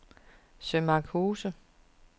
Sømarkshuse